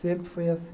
Sempre foi assim.